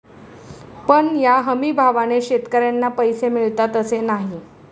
पण या हमीभावाने शेतकऱ्यांना पैसे मिळतात असे नाही.